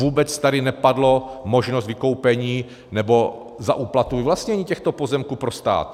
Vůbec tady nepadla možnost vykoupení, nebo za úplatu vyvlastnění těchto pozemků pro stát.